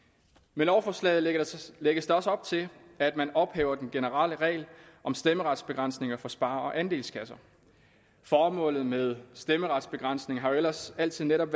med lovforslaget lægges lægges der også op til at man ophæver den generelle regel om stemmeretsbegrænsninger for spare og andelskasser formålet med stemmeretsbegrænsningen har jo ellers altid netop